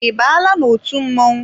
I baala n'otu mmọnwụ?